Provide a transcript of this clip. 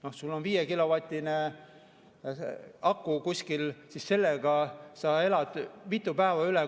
Kui sul on 5-kilovatine aku kuskil, siis sellega sa elad mitu päeva üle.